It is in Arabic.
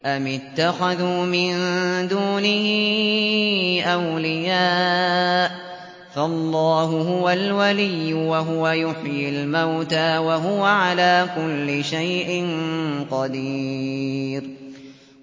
أَمِ اتَّخَذُوا مِن دُونِهِ أَوْلِيَاءَ ۖ فَاللَّهُ هُوَ الْوَلِيُّ وَهُوَ يُحْيِي الْمَوْتَىٰ وَهُوَ عَلَىٰ كُلِّ شَيْءٍ قَدِيرٌ